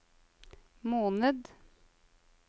måned